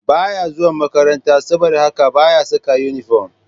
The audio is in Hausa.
Ba ya zuwa makaranta, saboda haka ba ya saka inifom